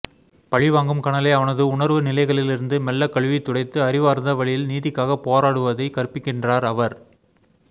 பழிவாங்கும் கனலை அவனது உணர்வு நிலைகளிலிருந்து மெல்ல கழுவி துடைத்து அறிவார்ந்த வழியில் நீதிக்காக போராடுவதை கற்பிக்கின்றார் அவர்